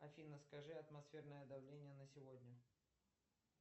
афина скажи атмосферное давление на сегодня